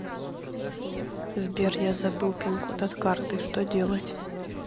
сбер я забыл пин код от карты что делать